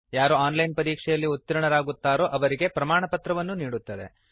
ಯಾರು online ಪರೀಕ್ಷೆಯಲ್ಲಿ ಉತೀರ್ಣರಾಗುತ್ತಾರೋ ಅವರಿಗೆ ಪ್ರಮಾಣಪತ್ರವನ್ನೂ ನೀಡುತ್ತದೆ